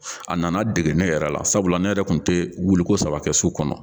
A nana dege ne yɛrɛ la sabula ne yɛrɛ kun tɛ wuliko saba kɛ su kɔnɔ.